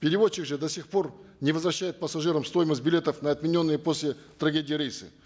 перевозчик же до сих пор не возвращает пассажирам стоимость билетов на отмененные после трагедии рейсы